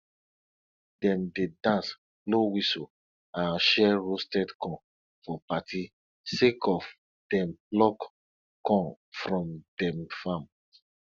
dem dey dance blow whistle and share roasted corn for party sake of dem pluck corn from dem farm